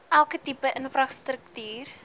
elke tipe infrastruktuur